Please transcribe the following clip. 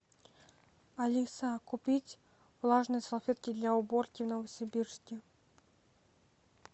алиса купить влажные салфетки для уборки в новосибирске